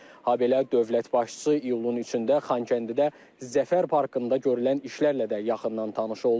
Habelə dövlət başçısı iyulun 3-də Xankəndidə Zəfər parkında görülən işlərlə də yaxından tanış oldu.